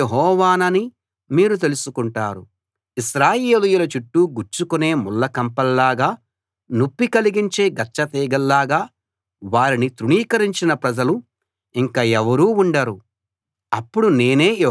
ఇశ్రాయేలీయుల చుట్టూ గుచ్చుకునే ముళ్ళ కంపల్లాగా నొప్పి కలిగించే గచ్చతీగల్లాగా వారిని తృణీకరించిన ప్రజలు ఇంక ఎవరూ ఉండరు అప్పుడు నేనే యెహోవా ప్రభువునని వాళ్ళు తెలుసుకుంటారు